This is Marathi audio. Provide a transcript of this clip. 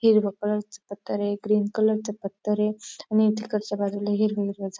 हिरव कलर चा पत्थर ये क्रीम कलर चा पत्थर ए आणि तिकडच्या बाजूला हिरवे हिरवे --